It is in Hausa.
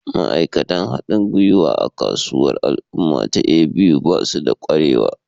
Ma'aikatan haɗin gwiwa a kasuwar al'umma ta A.B.U ba su da ƙwarewa